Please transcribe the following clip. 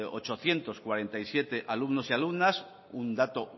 ochocientos cuarenta y siete alumnos y alumnas un dato